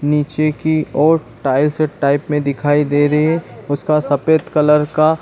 नीचे की ओर टाइल्स टाइप में दिखाई दे रही है उसका सफेद कलर का --